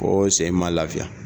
Ko sen ma lafiya.